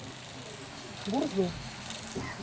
гурзуф